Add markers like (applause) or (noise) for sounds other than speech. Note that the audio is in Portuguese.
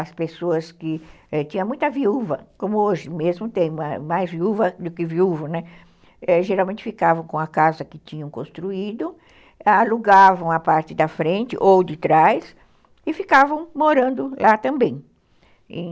As pessoas que tinham muita viúva, como hoje mesmo tem mais viúva do que viúvo, né, geralmente ficavam com a casa que tinham construído, alugavam a parte da frente ou de trás e ficavam morando lá também. (unintelligible)